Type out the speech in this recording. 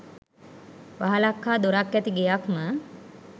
වහලක් හා දොරක් ඇති ගෙයක් ම